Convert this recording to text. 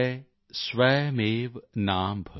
पिबन्ति नद्यः स्वयमेव नाम्भः